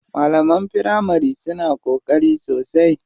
Malaman firamari suna ƙoƙari sosai.